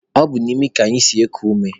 Ọ bụ n'imi ka anyị si eku ume